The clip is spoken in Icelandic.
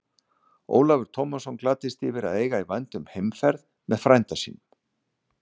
Ólafur Tómasson gladdist yfir að eiga í vændum heimferð með frænda sínum.